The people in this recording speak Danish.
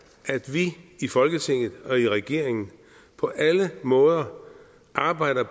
vi i folketinget og i regeringen på alle måder arbejder